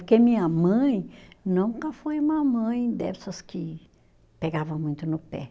Porque minha mãe nunca foi uma mãe dessas que pegava muito no pé.